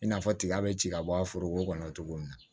I n'a fɔ tiga be ci ka bɔ a foroko kɔnɔ cogo min na